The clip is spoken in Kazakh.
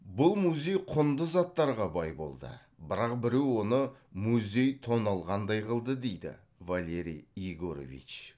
бұл музей құнды заттарға бай болды бірақ біреу оны музей тоналғандай қылды дейді валерий егорович